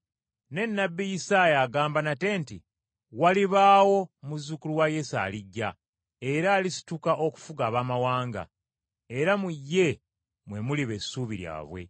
Ne Nnabbi Isaaya agamba nate nti, “Walibaawo muzzukulu wa Yese alijja era alisituka okufuga Abaamawanga, era mu ye mwe muliba essuubi lyabwe.”